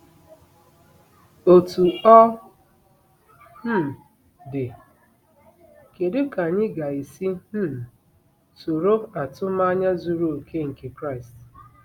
Otú ọ um dị, kedu ka anyị ga-esi um soro atụmanya zuru oke nke Kraịst?